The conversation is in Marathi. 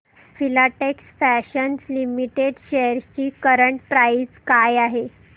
फिलाटेक्स फॅशन्स लिमिटेड शेअर्स ची करंट प्राइस काय आहे